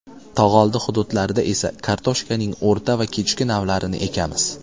Tog‘oldi hududlarida esa kartoshkaning o‘rta va kechki navlarini ekamiz.